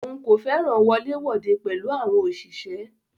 Òun kò fẹràn wọlé wode pẹ̀lú àwọn òṣìṣẹ́.